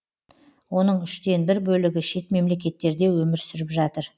оның үштен бір бөлігі шет мемлекеттерде өмір сүріп жатыр